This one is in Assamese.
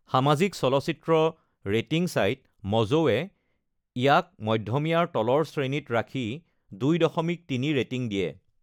সামাজিক চলচিত্ৰ ৰেটিং ছাইট ম’জৱো-এ ইয়াক ‘মধমীয়াৰ তলৰ শ্ৰেণীত’ ৰাখি ২.৩ ৰেটিং দিয়ে।